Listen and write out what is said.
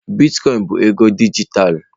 Bitkọin bụ ego dijitalụ.